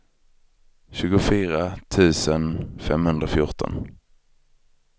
tjugofyra tusen femhundrafjorton